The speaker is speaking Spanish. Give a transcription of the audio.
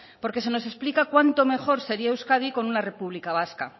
porque se nos explica cuánto mejor sería euskadi con una república vasca